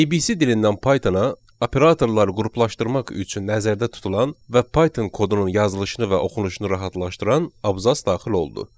ABC dilindən Pythona operatorlar qruplaşdırmaq üçün nəzərdə tutulan və Python kodunun yazılışını və oxunuşunu rahatlaşdıran abzass daxil oldu.